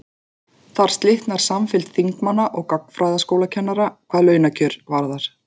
Þar slitnar samfylgd þingmanna og gagnfræðaskólakennara hvað launakjör varðar.